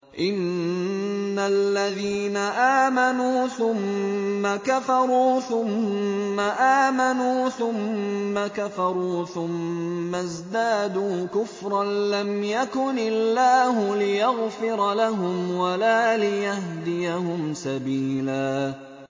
إِنَّ الَّذِينَ آمَنُوا ثُمَّ كَفَرُوا ثُمَّ آمَنُوا ثُمَّ كَفَرُوا ثُمَّ ازْدَادُوا كُفْرًا لَّمْ يَكُنِ اللَّهُ لِيَغْفِرَ لَهُمْ وَلَا لِيَهْدِيَهُمْ سَبِيلًا